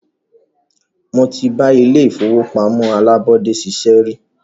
Mó tí bá ilé ìfọwọ́pamó alábọ́dé ṣiṣẹ́ rí.